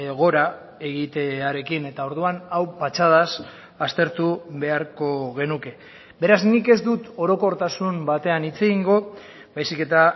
gora egitearekin eta orduan hau patxadaz aztertu beharko genuke beraz nik ez dut orokortasun batean hitz egingo baizik eta